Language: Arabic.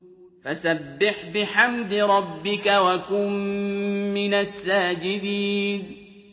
فَسَبِّحْ بِحَمْدِ رَبِّكَ وَكُن مِّنَ السَّاجِدِينَ